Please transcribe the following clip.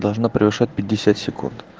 должна превышать пятьдесят секунд